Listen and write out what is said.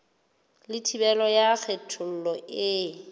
le thibelo ya kgethollo e